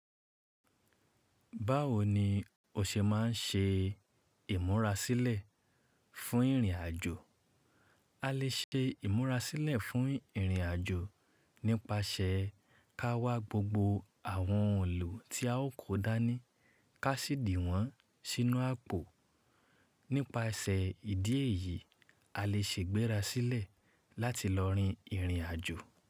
Báwo ni o ṣe máa ń ṣe ìmúra sílẹ̀ fún ìrìnàjò? A lè ṣe ìmúra sílẹ̀ fún ìrìnàjò nípasẹ̀ ká wá gbogbo àwọn ohun ilo tí a ó kó dání, ká sì dì wọ́n sínú àpò. Nípasẹ̀ ìdí èyí, a lè ṣe ìgbéra sílẹ̀ láti lọ rin ìrìnàjò.